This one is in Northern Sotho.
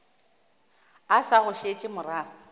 o sa go šetše morago